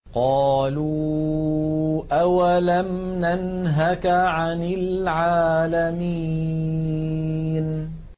قَالُوا أَوَلَمْ نَنْهَكَ عَنِ الْعَالَمِينَ